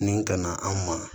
Nin kana an ma